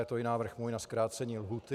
Je to i návrh můj na zkrácení lhůty.